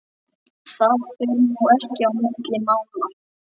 Það fer nú ekki á milli mála